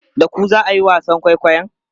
Da ku za a yi wasan kwaikwayon?